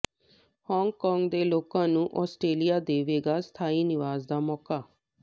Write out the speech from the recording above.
Hong Kong ਦੇ ਲੋਕਾਂ ਨੂੰ ਆਸਟ੍ਰੇਲੀਆ ਦੇਵੇਗਾ ਸਥਾਈ ਨਿਵਾਸ ਦਾ ਮੌਕਾ